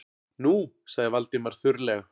Nú- sagði Valdimar þurrlega.